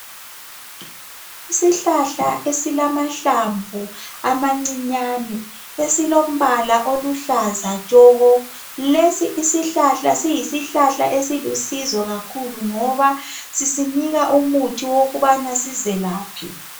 Isihlahla esilamahlamvu amancinyane esilombala oluhlaza tshoko lesi isihlahla siyisihlahla esilusizo kakhulu ngoba sisinika umuthi wokubana sizelaphe.